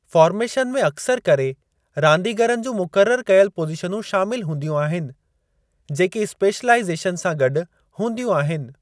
Formation में अक्सरि करे रांदीगरनि जूं मुक़रर कयल पोज़ीशनूं शामिल हूंदियूं आहिनि जेकी स्पेशलाईज़ेशन सां गॾु हूंदियूं आहिनि।